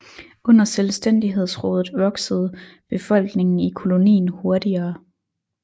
Under Selvstændighedsrådet voksede befolkningen i kolonien hurtigere